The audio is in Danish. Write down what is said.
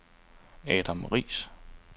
Adam Riis